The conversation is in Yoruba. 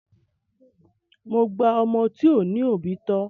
Mo gba ọmọ tí ò ní òbí tọ.